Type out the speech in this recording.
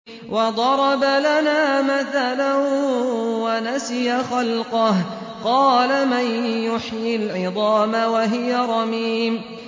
وَضَرَبَ لَنَا مَثَلًا وَنَسِيَ خَلْقَهُ ۖ قَالَ مَن يُحْيِي الْعِظَامَ وَهِيَ رَمِيمٌ